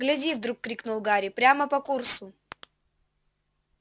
гляди вдруг крикнул гарри прямо по курсу